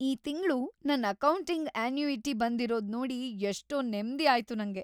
ಈ ತಿಂಗ್ಳು ನನ್ ಅಕೌಂಟಿಗ್‌ ಅನ್ಯೂಇಟಿ ಬಂದಿರೋದ್‌ ನೋಡಿ ಎಷ್ಟೋ ನೆಮ್ದಿ ಆಯ್ತು ನಂಗೆ.